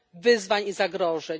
wyzwań i zagrożeń.